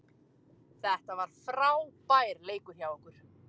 Þetta var frábær leikur hjá okkur